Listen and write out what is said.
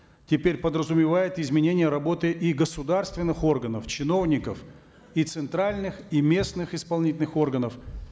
теперь подразумевает изменение работы и государственных органов чиновников и центральных и местных исполнительных органов